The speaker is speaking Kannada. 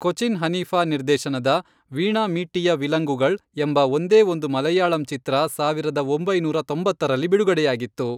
ಕೊಚಿನ್ ಹನೀಫಾ ನಿರ್ದೇಶನದ, ವೀಣಾ ಮೀಟ್ಟಿಯ ವಿಲಂಗುಗಳ್, ಎಂಬ ಒಂದೇ ಒಂದು ಮಲಯಾಳಂ ಚಿತ್ರ ಸಾವಿರದ ಒಂಬೈನೂರ ತೊಂಬತ್ತರಲ್ಲಿ ಬಿಡುಗಡೆಯಾಗಿತ್ತು.